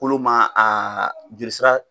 Kolo ma a jelisira